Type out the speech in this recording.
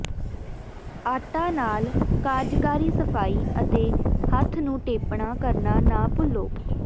ਆਟਾ ਨਾਲ ਕਾਰਜਕਾਰੀ ਸਫਾਈ ਅਤੇ ਹੱਥ ਨੂੰ ਟੇਪਣਾ ਕਰਨਾ ਨਾ ਭੁੱਲੋ